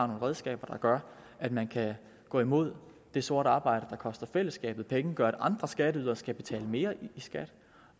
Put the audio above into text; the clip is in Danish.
nogle redskaber der gør at man kan gå imod det sorte arbejde der koster fællesskabet penge og gør at andre skatteydere skal betale mere i skat